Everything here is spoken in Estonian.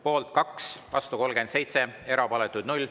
Poolt on 2, vastu 37, erapooletuid on 0.